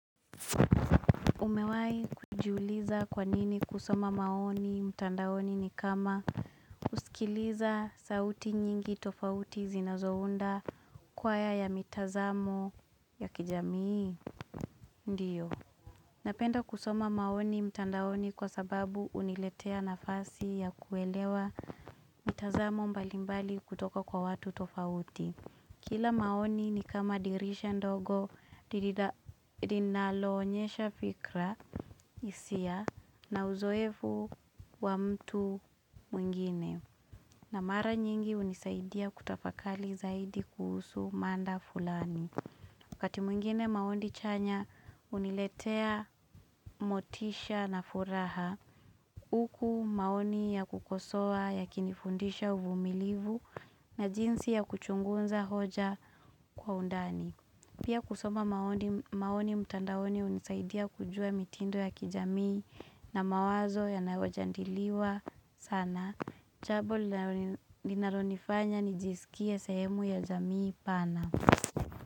Umewahi kujuliza kwanini kusoma maoni mtandaoni ni kama kusikiliza sauti nyingi tofauti zinazounda kwaya ya mitazamo ya kijamii, ndiyo. Napenda kusoma maoni mtandaoni kwa sababu uniletea nafasi ya kuelewa mitazamo mbalimbali kutoka kwa watu tofauti. Kila maoni ni kama dirisha ndogo lilinalo onyesha fikra hisia na uzoefu wa mtu mwingine na mara nyingi unisaidia kutafakali zaidi kuhusu manda fulani kati mwingine maoni chanya uniletea motisha na furaha Uku maoni ya kukosoa yakinifundisha uvumilivu na jinsi ya kuchungunza hoja kwa undani. Pia kusoma maoni mtandaoni unisaidia kujua mitindo ya kijamii na mawazo yanaojandiliwa sana. Chabo linalonifanya nijisikie sehemu ya jamii pana.